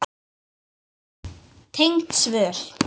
Tengd svör